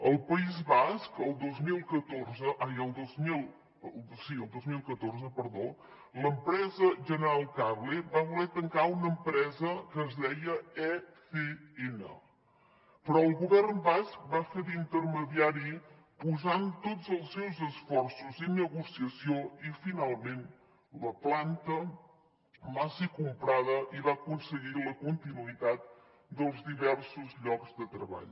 al país basc el dos mil catorze l’empresa general cable va voler tancar una empresa que es deia ecn però el govern basc va fer d’intermediari posant tot els seus esforços i negociació i finalment la planta va ser comprada i va aconseguir la continuïtat dels diversos llocs de treball